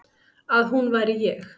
Að hún væri ég.